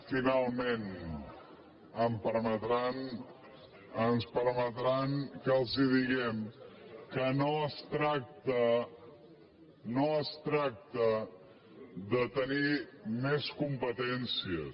finalment em permetran ens permetran que els diguem que no es tracta no es tracta de tenir més competències